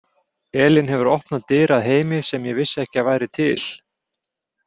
Elín hefur opnað dyr að heimi sem ég vissi ekki að væri til.